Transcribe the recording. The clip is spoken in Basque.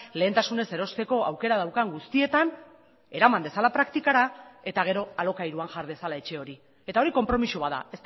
lehentasunez erosteko aukera daukan guztietan eraman dezala praktikara eta gero alokairuan jar dezala etxe hori eta hori konpromiso bat da